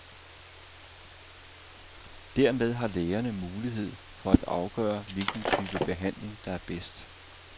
Dermed har lægerne mulighed for at afgøre hvilken type behandling, der er bedst.